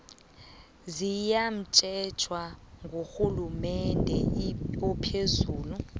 ziyatjhejwa ngurhulumende ophezulu